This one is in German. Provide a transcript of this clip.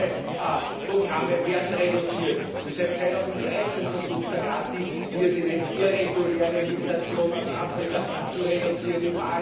höher, Sozialprogramme werden reduziert, und seit 2013 versucht der Rat, die wie er sie nennt irreguläre Migration aus Afrika zu reduzieren.